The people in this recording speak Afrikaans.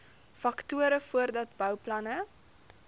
faktore voordat bouplanne